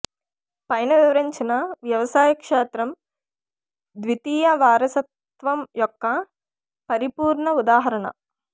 పైన వివరించిన వ్యవసాయ క్షేత్రం ద్వితీయ వారసత్వం యొక్క పరిపూర్ణ ఉదాహరణ